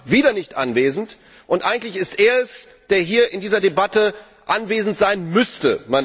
Der Rat ist wieder nicht anwesend, und eigentlich ist er es, der hier in dieser Debatte anwesend sein müsste.